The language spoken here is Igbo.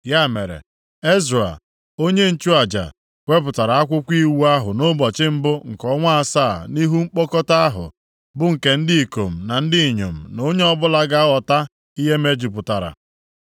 Ya mere, Ezra, onye nchụaja wepụtara akwụkwọ Iwu ahụ nʼụbọchị mbụ nke ọnwa asaa nʼihu mkpọkọta ahụ bụ nke ndị ikom na ndị inyom na onye ọbụla ga-aghọta ihe mejupụtara.